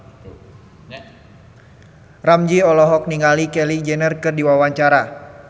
Ramzy olohok ningali Kylie Jenner keur diwawancara